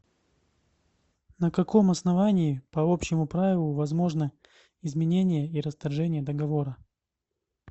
на каком основании по общему правилу возможны изменение и расторжение договора